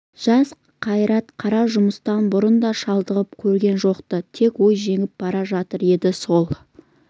жас қайрат қара жұмыстан бұрын да шалдығып көрген жоқ-ты тек ой жеңіп бара жатыр еді сол